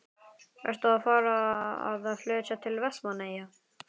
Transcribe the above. Ertu að fara að flytja til Vestmannaeyja?